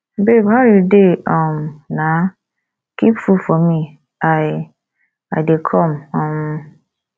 babe how you dey um na keep food for me i i dey come um